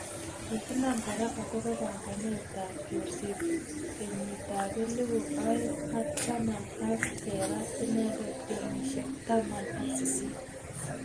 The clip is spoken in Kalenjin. Ki kinam kora akobo panganet ab chorset kenyit ab elibu aeng ak taman ak kerat inendet kenyishek taman ak sisit.